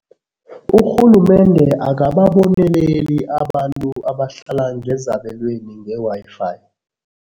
Urhulumende akababoneleli abantu abahlala ngezabelweni nge-Wi-Fi.